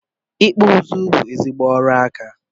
ikpụ ụzụ bụ ezigbo aka ọrụ